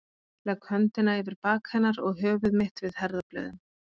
Legg höndina yfir bak hennar og höfuð mitt við herðablöðin.